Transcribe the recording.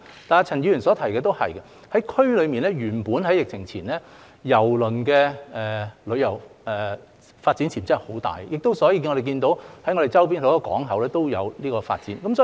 但是，陳議員所提的也是對的，原本在疫情前，在區內，郵輪旅遊的發展潛質很大，所以我們看到周邊很多港口也有這方面的發展。